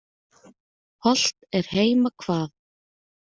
Hollt er heima hvað.